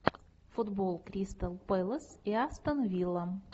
футбол кристал пэлас и астон вилла